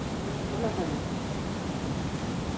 underholdning